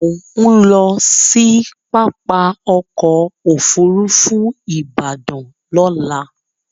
Mò ń lọ sí pápá ọkọ̀ Òfurufú Ìbàdàn lọ́la